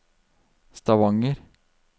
Stavanger